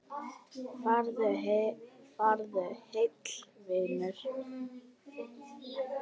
Farðu heill, vinur.